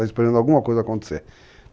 Está esperando alguma coisa acontecer.